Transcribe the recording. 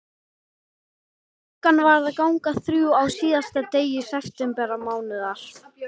Klukkan var að ganga þrjú á síðasta degi septembermánaðar.